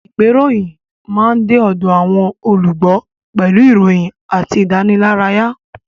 Ìgbéròyìnjáde máa ń de ọ̀dọ̀ àwọn olùgbọ́ pẹ̀lú ìròyìn àti ìdánilárayá